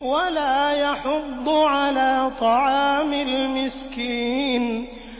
وَلَا يَحُضُّ عَلَىٰ طَعَامِ الْمِسْكِينِ